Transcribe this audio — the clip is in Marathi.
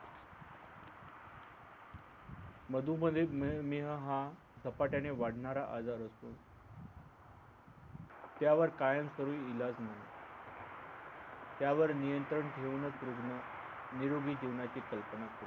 मधु मध्ये मेह हा झपाट्या ने वाढणारा आजार असून त्यावर कायमस्वरूपी इलाज नाही त्यावर नियंत्रण ठेवूनच रुग्ण निरोगी जीवनाची कल्पना करू शकतो